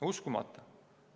Uskumatu!